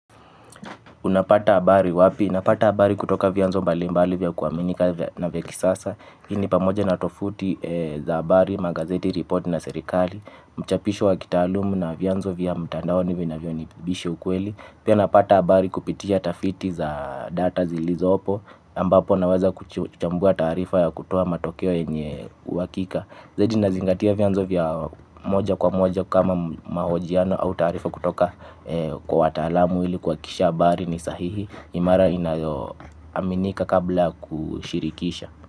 Unapata abari wapi? Napata habari kutoka vianzo mbalimbali vya kuaminika na vya kisasa hii ni pamoja na tofuti za habari, magazeti, report na serikali. Mchapisho wa kitalumu na vianzo vya mtandao nivyo inavyo nibisha ukweli. Pia napata habari kupitia tafiti za data zilizo opo, ambapo naweza kuchambua taarifa ya kutoa matokeo yenye uhakika. Zaidi nazingatia vianzo vya moja kwa moja kama mahojiano au taarifa kutoka kwa watalamu ili kwa akisha habari ni sahihi imara, inayo aminika kabla kushirikisha.